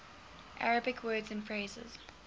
arabic words and phrases